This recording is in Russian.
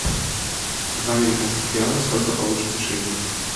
два американских реала сколько получится шиллингов